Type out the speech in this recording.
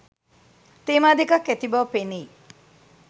තේමා දෙකක් ඇති බව පෙනෙයි.